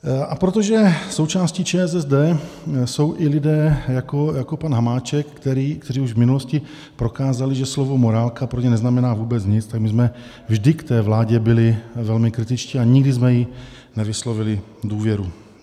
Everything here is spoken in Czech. A protože součástí ČSSD jsou i lidé jako pan Hamáček, kteří už v minulosti prokázali, že slovo morálka pro ně neznamená vůbec nic, tak my jsme vždy k té vládě byli velmi kritičtí a nikdy jsme jí nevyslovili důvěru.